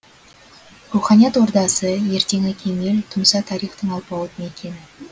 руханият ордасы ертеңі кемел тұмса тарихтың алпауыт мекені